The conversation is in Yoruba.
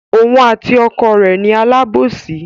Òun àti ọkọ rẹ̀ ni alábòsí.